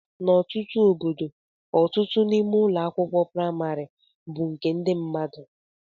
N'ọtụtụ obodo, ọtụtụ n'ime ụlọ akwụkwọ praịmarị bụ nke ndị mmadụ.